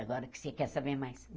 Agora que você quer saber mais.